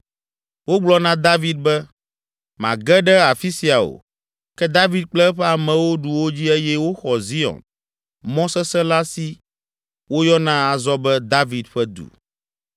Wogblɔ na David be, “Màge ɖe afi sia o.” Ke David kple eƒe amewo ɖu wo dzi eye woxɔ Zion mɔ sesẽ la si woyɔna azɔ be, “David ƒe Du.”